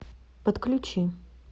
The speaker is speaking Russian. подключи